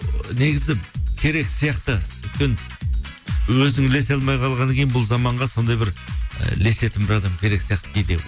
ы негізі керек сияқты өйткені өзің ілесе алмай қалғаннан кейін бұл заманға сондай бір і ілесетін бір адам керек сияқты кейде